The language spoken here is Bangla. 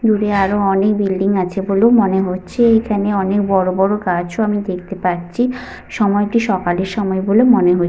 দূরে আরো অনেক বিল্ডিং আছে বলে মনে হচ্ছে। এখানে অনেক বড় বড় গাছও আমি দেখতে পাচ্ছি। সময়টি সকালের সময় বলে মনে হচ্ছে।